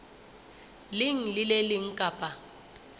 leng le le leng kapa